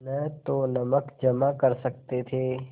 न तो नमक जमा कर सकते थे